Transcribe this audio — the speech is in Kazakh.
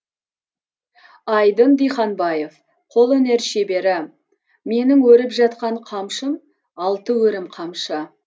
айдын диханбаев қолөнер шебері менің өріп жатқан қамшым алты өрім қамшы